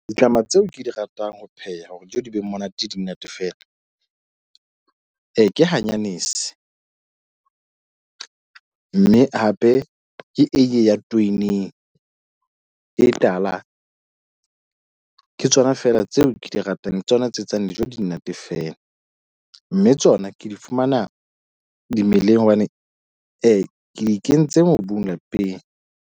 Ditlama tseo ke di ratang ho pheha hore dijo di be monate di monate. Fela e ke hanyane bese mme hape ke eiye ya training e tala. Ng ng Ke tsona fela tseo ke di ratang tsona tse etsang dijo di monate fela mme tsona ke di fumana dimeleng hobane I ke di kentse mobung lapeng.